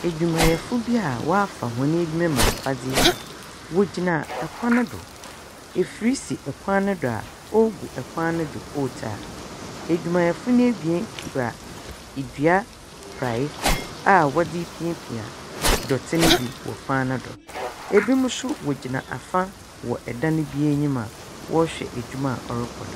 Edwumayɛfo bi a wɔafa hɔn edwuma mu afadze yi wɔgyina kwan do. Afir si kwan no do a wɔrogu kwan no do coal tard. Edwumayɛfo no ebien kura dua praeɛ a wɔdze repiapia dɛte no bi wɔ kwan no do. Binom nso wɔgyina fa wɔ dan bi enyim a wɔrokɔ do.